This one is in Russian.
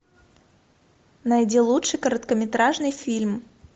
найди лучший короткометражный фильм